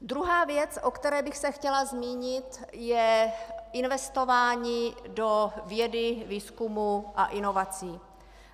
Druhá věc, o které bych se chtěla zmínit, je investování do vědy, výzkumu a inovací.